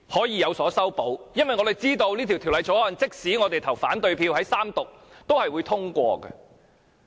因為我們知道《條例草案》即使我們在三讀投下反對票，也是會通過的。